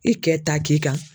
I cɛ ta k'i kan.